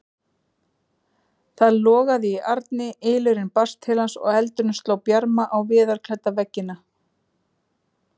Það logaði í arni, ylurinn barst til hans og eldurinn sló bjarma á viðarklædda veggina.